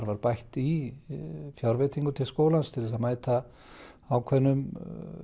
var bætt í fjárveitingu til skólans til að mæta ákveðnum